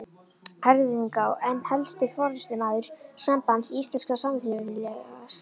Eyfirðinga og einn helsti forystumaður Sambands íslenskra samvinnufélaga.